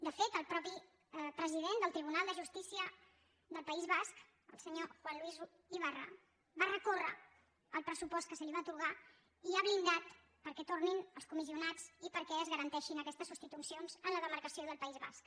de fet el mateix president del tribunal de justícia del país basc el senyor juan luis ibarra va recórrer el pressupost que se li va atorgar i ha blindat perquè tornin els comissionats i perquè es garanteixin aquestes substitucions en la demarcació del país basc